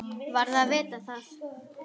Varð að vita það.